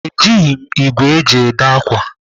Ejighị m ìgwè eji èdè ákwà.